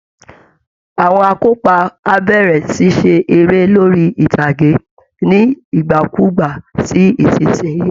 Àwọn akópa á bẹ̀rẹ̀ ṣíṣe eré lórí ìtàgé ní nígbàkúùgbà sí ìsinsìnyí